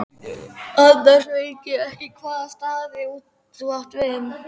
Annars veit ég ekki hvaða staði þú átt við.